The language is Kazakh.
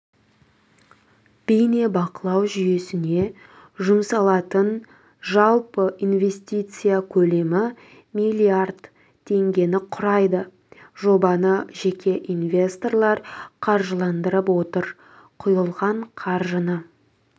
бейнебақылау жүйесіне жұмсалатын жалпы инвестиция көлемі миллиард теңгені құрайды жобаны жеке инвесторлар қаржыландырып отыр құйылған қаржыны